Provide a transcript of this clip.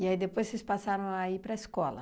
E aí, depois, vocês passaram a ir para a escola?